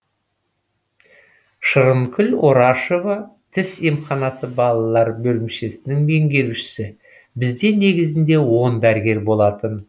шырынкүл орашева тіс емханасы балалар бөлімшесінің меңгерушісі бізде негізінде он дәрігер болатын